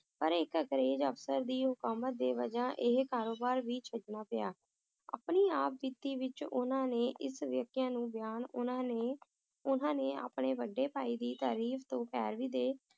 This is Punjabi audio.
ਪਰ ਇਕ ਅੰਗਰੇਜ ਅਫਸਰ ਦੀ ਹੁਕੂਮਤ ਦੀ ਵਜ੍ਹਾ ਇਹ ਕਾਰੋਬਾਰ ਵੀ ਛੱਡਣਾ ਪਿਆ ਆਪਣੀ ਆਪ ਬੀਤੀ ਵਿਚ ਉਹਨਾਂ ਨੇ ਇਸ ਵਾਕਿਆ ਨੂੰ ਬਿਆਨ ਉਨ੍ਹਾਂ ਨੇ ਉਨ੍ਹਾਂ ਨੇ ਆਪਣੇ ਵੱਡੇ ਭਾਈ ਦੀ ਤਰਫ਼ ਤੋਂ ਪੈਰਵੀ ਦੇ